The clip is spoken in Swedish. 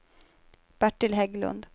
Bertil Hägglund